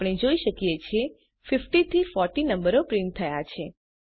આપણે જોઈ શકીએ છીએ 50 થી 40 નંબરો પ્રિન્ટ થયા છે